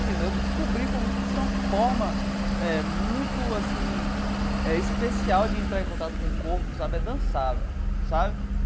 Eu descobri como isso é uma forma eh muito assim eh especial de entrar em contato com o corpo sabe, é dançar velho sabe.